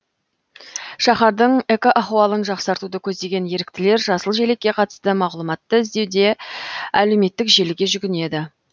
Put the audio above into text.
шаһардың экоахуалын жақсартуды көздеген еріктілер жасыл желекке қатысты мағлұматты іздеуде әлеуметтік желіге жүгінеді